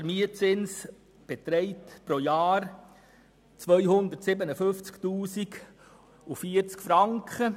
Der Mietzins beträgt pro Jahr 257 040 Franken.